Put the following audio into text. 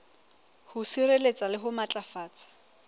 ho sireletsa le ho matlafatsa